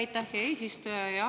Aitäh, hea eesistuja!